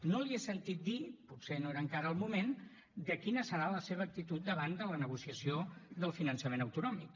no li he sentit dir potser no era encara el moment quina serà la seva actitud davant de la negociació del finançament autonòmic